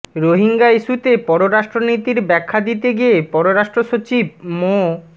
রোহিঙ্গা ইস্যুতে পররাষ্ট্রনীতির ব্যাখ্যা দিতে গিয়ে পররাষ্ট্র সচিব মো